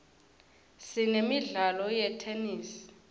sinemidlalo yetenesi